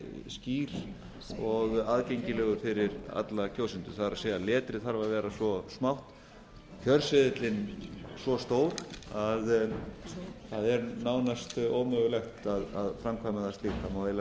skýr og aðgengilegur fyrir alla kjósendur það er letrið þarf að vera svo smátt kjörseðillinn svo stór að það er nánast ómögulegt að framkvæma slíkt það